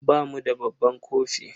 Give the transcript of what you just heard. Ba mu da babban kofi.